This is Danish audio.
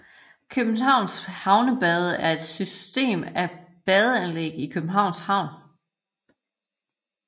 Københavns Havnebade er et system af badeanlæg i Københavns Havn